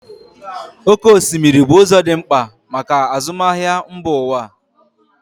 Oké osimiri bụ ụzọ dị mkpa maka azụmahịa mba ụwa.